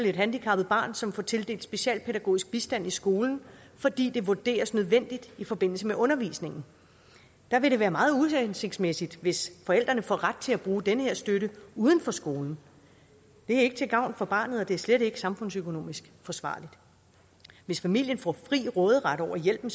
et handicappet barn som får tildelt specialpædagogisk bistand i skolen fordi det vurderes nødvendigt i forbindelse med undervisningen der vil det være meget uhensigtsmæssigt hvis forældrene får ret til at bruge den her støtte uden for skolen det er ikke til gavn for barnet og det er slet ikke samfundsøkonomisk forsvarligt hvis familien får fri råderet over hjælpen